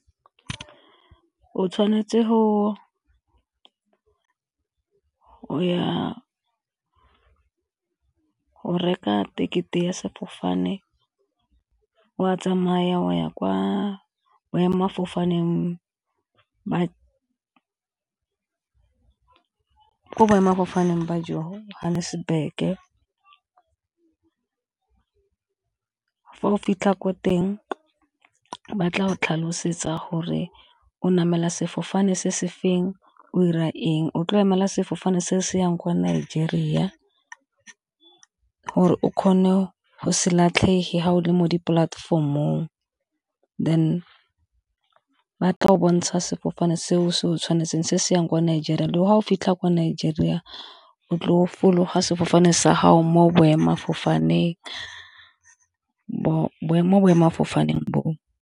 O tshwanetse go ya go reka ticket-e ya sefofane wa tsamaya go ya ko boemafofaneng ba Johannesburg fa o fitlha ko teng ba tla go tlhalosetsa gore namela sefofane se se feng, o dira eng o tlo emela sefofane se se yang kwa Nigeria gore o kgone go se latlhege fa o le mo dipolatefomong ba tla go bontsha sefofane seo se o tshwanetseng se se yang kwa Nigeria. Ga o fitlha ko Nigeria o tlo fologa sefofane sa gago mo boemafofaneng, mo boemafofaneng boo.